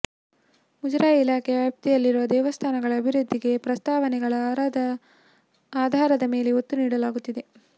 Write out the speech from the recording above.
ಮುಜರಾಯಿ ಇಲಾಖೆ ವ್ಯಾಪ್ತಿಯಲ್ಲಿರುವ ದೇವಸ್ಥಾನಗಳ ಅಭಿವೃದ್ಧಿಗೆ ಪ್ರಸ್ತಾವನೆಗಳ ಆಧಾರದ ಮೇಲೆ ಒತ್ತು ನೀಡಲಾಗುತ್ತಿದೆ